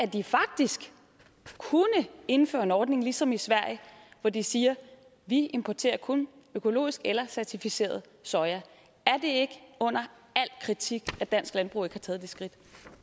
de faktisk kunne indføre en ordning ligesom i sverige hvor de siger vi importerer kun økologisk eller certificeret soja er det ikke under al kritik at dansk landbrug ikke har taget det skridt